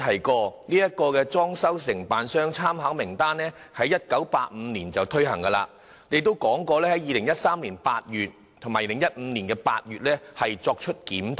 局長剛才提到參考名單的制度在1982年推行，並在2013年8月及2015年8月進行檢討。